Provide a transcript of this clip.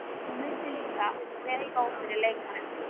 Hún vissi líka, hver stóð fyrir lekanum.